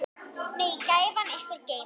Megi gæfan ykkur geyma.